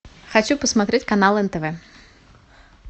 хочу посмотреть канал нтв